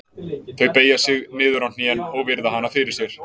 Þau beygja sig niður á hnén og virða hana fyrir sér.